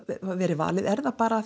verið valið er það bara